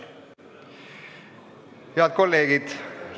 Head kolleegid!